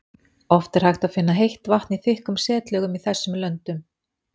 Oft er hægt að finna heitt vatn í þykkum setlögum í þessum löndum.